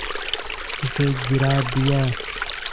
उसे गिरा दिया